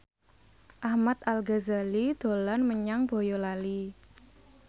Ahmad Al Ghazali dolan menyang Boyolali